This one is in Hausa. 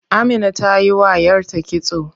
Amina tayi wa yarta kitso.